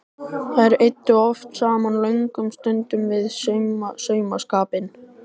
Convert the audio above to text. Þær eyddu oft saman löngum stundum við saumaskapinn.